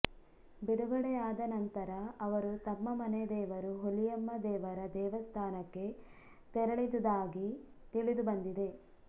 ಬಿಡುಗಡೆ ಆದ ನಂತರ ಅವರು ತಮ್ಮ ಮನೆದೇವರು ಹುಲಿಯಮ್ಮ ದೇವರ ದೇವಸ್ಥಾನಕ್ಕೆ ತೆರಳಿದುದಾಗಿ ತಿಳಿದುಬಂದಿದೆ